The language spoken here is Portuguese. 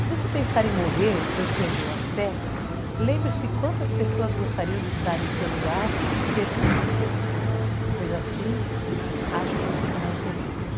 Se você pensar em morrer, pois perdeu a fé, lembre-se quantas pessoas gostariam de estar em seu lugar e ter tudo o que tem, pois assim acho que seriam mais felizes.